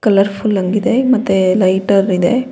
Colour full ಹಂಗಿದೆ ಮತ್ತೆ lighter ಇದೆ.